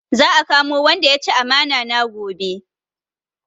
Za a kamo wanda ya ci amana na gobe